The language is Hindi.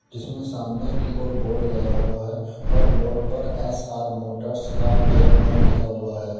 जिसमें सामने की ओर बोर्ड लगा हुआ है और बोर्ड पर S R motors car care home लिखा हुआ है।